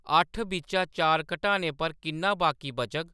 अट्ठ बिच्चा चार घटाने पर किन्ना बाकी बचग